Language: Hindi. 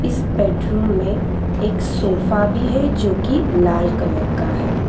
इस बेडरूम में एक सोफा भी है जो की लाल कलर का है।